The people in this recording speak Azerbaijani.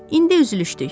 İndi üzülüşdük.